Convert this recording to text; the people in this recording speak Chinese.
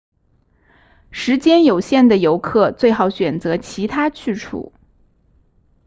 时间有限的游客最好选择其他去处